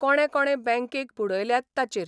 कोणे कोणे बँकेक बुडयल्यात ताचेर.